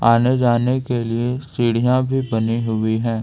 आने जाने के लिए सीढ़ियां भी बनी हुई है।